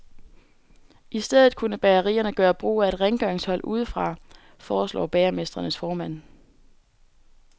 I stedet kunne bagerierne gøre brug af et rengøringshold udefra, foreslår bagermestrenes formand.